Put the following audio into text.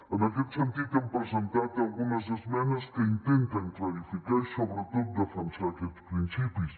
en aquest sentit hem presentat algunes esmenes que intenten clarificar i sobretot defensar aquests principis